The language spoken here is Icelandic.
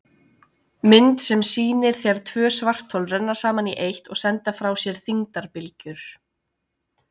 Mynd sem sýnir þegar tvö svarthol renna saman í eitt og senda frá sér þyngdarbylgjur.